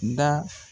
Da